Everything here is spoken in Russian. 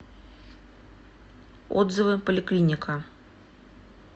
отзывы поликлиника